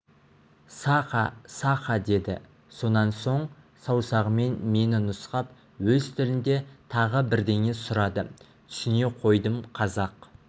саха саха деді сонан соң саусағымен мені нұсқап өз тілінде тағы бірдеңе сұрады түсіне қойдым қазақ